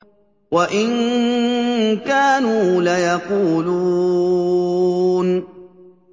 وَإِن كَانُوا لَيَقُولُونَ